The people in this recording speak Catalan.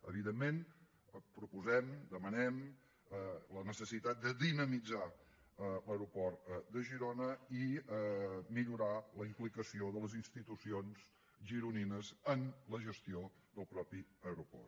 evidentment proposem demanem la necessitat de dinamitzar l’aeroport de girona i millorar la implicació de les institucions gironines en la gestió del mateix aeroport